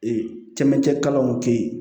camancɛ kalanw tɛ ye